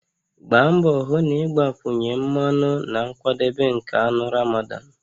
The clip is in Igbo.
Gbaa mbọ hụ na ị gbakwunye mmanụ na nkwadebe nke anụ Ramadan